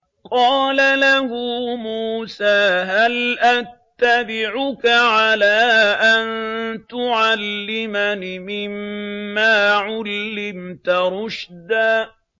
قَالَ لَهُ مُوسَىٰ هَلْ أَتَّبِعُكَ عَلَىٰ أَن تُعَلِّمَنِ مِمَّا عُلِّمْتَ رُشْدًا